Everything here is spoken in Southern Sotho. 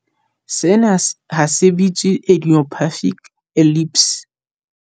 Sena he se bitswa idiopathic epilepsy.